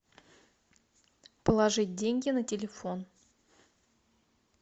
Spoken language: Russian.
положить деньги на телефон